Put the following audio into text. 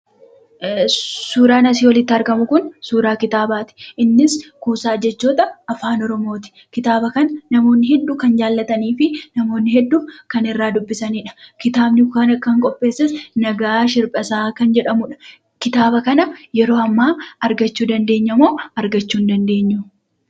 Suuraan asii olitti argamu kun, suuraa kitaabaati. Innis kuusaa jechoota Afaan Oromoo ti. Kitaaba kana namoonni hedduun kan jaallatanii fi namoonni hedduun kan irraa dubbisanii dha. Kitaaba kana kan qopheesses Nagaash Hirphasaa kan jedhamuudha. Kitaaba kana yeroo ammaa argachuu ni dandeenya moo argachuu hin dandeenyu?